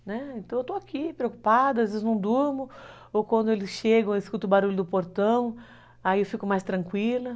Né, então eu estou aqui, preocupada, às vezes não durmo, ou quando eles chegam eu escuto o barulho do portão, aí eu fico mais tranquila.